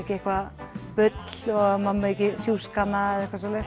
eitthvað bull og maður sjúski hana